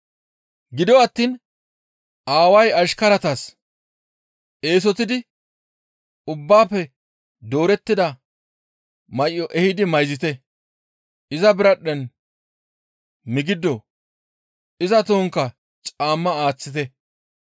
«Gido attiin aaway ashkaratas, ‹Eesotidi ubbaafe doorettida may7o ehidi mayzite; iza biradhdhen migido, iza tohonkka caamma aaththite.